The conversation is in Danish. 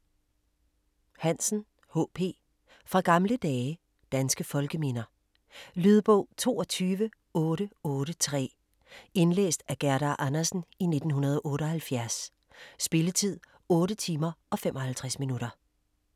Hansen, H. P.: Fra gamle dage Danske folkeminder. Lydbog 22883 Indlæst af Gerda Andersen, 1978. Spilletid: 8 timer, 55 minutter.